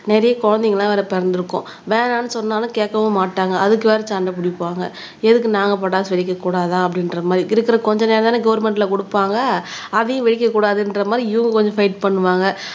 நிறைய குழந்தைங்கெல்லாம் வேற பிறந்திருக்கும் வேணான்னு சொன்னாலும் கேட்கவும் மாட்டாங்க அதுக்கு வேற சண்டை பிடிப்பாங்க எதுக்கு நாங்க பட்டாசு வெடிக்கக் கூடாதா அப்படின்ற மாதிரி இருக்கிற கொஞ்ச நேரம்தானே கவர்மெண்ட்ல கொடுப்பாங்க அதையும் வெடிக்கக் கூடாதுன்ற மாதிரி இவங்க கொஞ்சம் வயிட் பண்ணுவாங்க